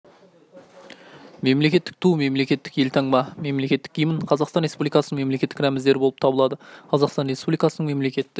мемлекеттік ту мемлекеттік елтаңба мемлекеттік гимн қазақстан республикасының мемлекеттік рәміздері болып табылады қазақстан республикасының мемлекеттік